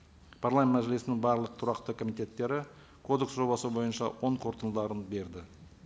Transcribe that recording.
мәжілісінің барлық тұрақты комитеттері кодекс жобасы бойынша оң қорытындыларын берді